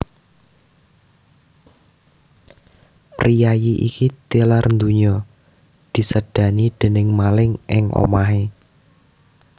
Priyayi iki tilar ndonya disédani déning maling ing omahé